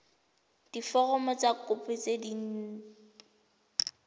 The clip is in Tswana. diforomo tsa kopo tse dint